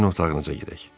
Sizin otağınıza gedək.”